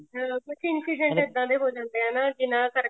ਕੁੱਝ incident ਇੱਦਾਂ ਦੇ ਵੀ ਹੋ ਜਾਂਦੇ ਐ ਜਿਨ੍ਹਾਂ ਕਰਕੇ